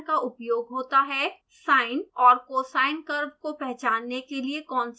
sine और cosine curve को पहचानने के लिए कौन सी कमांड होगी